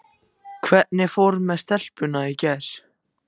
Hvernig fór með stelpuna í gær?